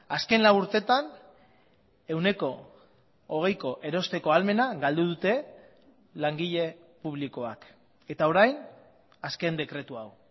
azken lau urtetan ehuneko hogeiko erosteko ahalmena galdu dute langile publikoak eta orain azken dekretu hau